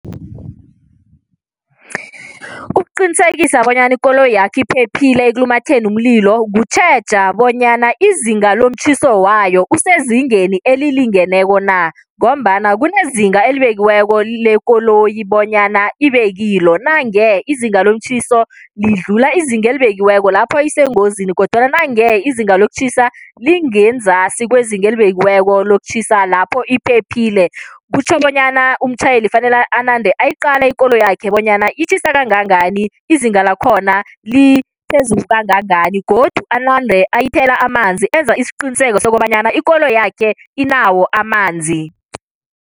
Ukuqinisekisa bonyana ikoloyakhe iphephile ekulumatheni umlilo, kutjheja bonyana izinga lomtjhiso wayo usezingeni elilingeneko na ngombana kunezinga elibekiweko lekoloyi bonyana ibe kilo. Nange izinga lomtjhiso lidlula izinga elibekiweko, lapho isengozini kodwana nange izinga lokutjhisa lingenzasi kwezinga elibekiweko lokutjhisa, lapho iphephile. Kutjho bonyana bona umtjhayeli fanele anande ayiqala ikoloyakhe bonyana itjhisa kangangani, izinga lakhona liphezulu kangangani godu anande ayithela amanzi enza isiqiniseko sokobanyana ikoloyakhe inawo amanzi.